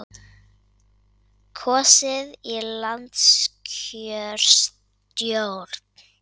Kosið í landskjörstjórn